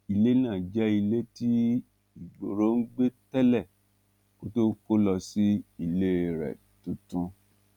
ilé náà jẹ ilé tí igboro ń gbé tẹlẹ kó tóó kó lọ sí ilé rẹ tuntun